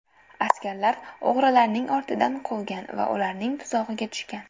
Askarlar o‘g‘rilarning ortidan quvgan va ularning tuzog‘iga tushgan.